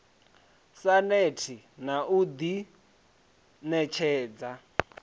sa neti na u ḓiṋetshedza